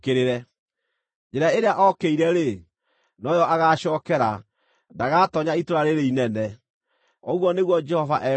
Njĩra ĩrĩa ookĩire-rĩ, no yo agaacookera; ndagatoonya itũũra rĩĩrĩ inene, ũguo nĩguo Jehova ekuuga.